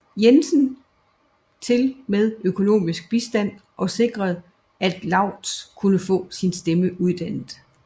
Jensen til med økonomisk bistand og sikrede at Laurttz kunne få sin stemme uddannet